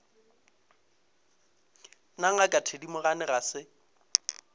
na ngaka thedimogane ga se